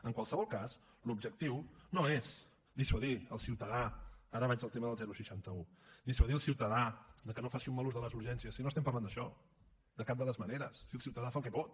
en qualsevol cas l’objectiu no és dissuadir el ciutadà ara vaig al tema del seixanta un de que no faci un mal ús de les urgències si no estem parlant d’això de cap de les maneres si el ciutadà fa el que pot